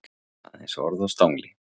Aðeins orð á stangli.